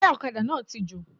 Táyà òkadà náà ti jò